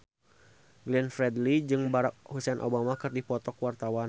Glenn Fredly jeung Barack Hussein Obama keur dipoto ku wartawan